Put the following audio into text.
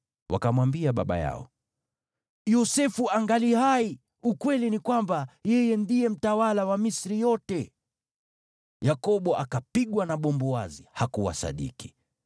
Wakamwambia baba yao, “Yosefu angali hai! Ukweli ni kwamba yeye ndiye mtawala wa Misri yote.” Yakobo akapigwa na bumbuazi; hakuwasadiki.